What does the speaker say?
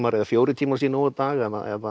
eða fjórir tímar sé nóg á dag eða